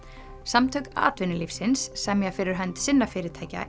samtök atvinnulífsins semja fyrir hönd sinna fyrirtækja